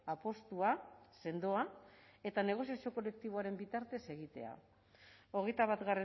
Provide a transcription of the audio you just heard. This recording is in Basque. apustua sendoa eta negoziazio kolektiboaren bitartez egitea hogeita bat